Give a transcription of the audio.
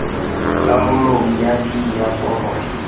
karolong ya d ya foromo